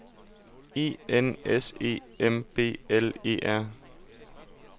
E N S E M B L E R